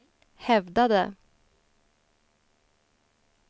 hävdade